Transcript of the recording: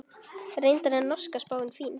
Reyndar er norska spáin fín.